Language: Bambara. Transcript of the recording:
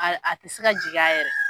A tɛ se ka jigin a yɛrɛ.